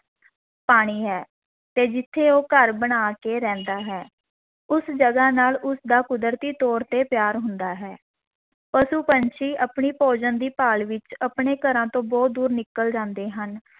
ਪਾਣੀ ਹੈ, ਤੇ ਜਿੱਥੇ ਉਹ ਘਰ ਬਣਾ ਕੇ ਰਹਿੰਦਾ ਹੈ, ਉਸ ਜਗਾ ਨਾਲ ਉਸ ਦਾ ਕੁਦਰਤੀ ਤੌਰ 'ਤੇ ਪਿਆਰ ਹੁੰਦਾ ਹੈ, ਪਸ਼ੂ-ਪੰਛੀ ਆਪਣੇ ਭੋਜਨ ਦੀ ਭਾਲ ਵਿੱਚ ਆਪਣੇ ਘਰਾਂ ਤੋਂ ਬਹੁਤ ਦੂਰ ਨਿਕਲ ਜਾਂਦੇ ਹਨ,